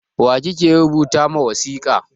Wa kike rubuta ma wasika?